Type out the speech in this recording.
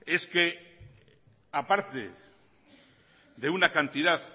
es que aparte de una cantidad